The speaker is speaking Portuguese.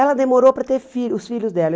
Ela demorou para ter filho os filhos dela.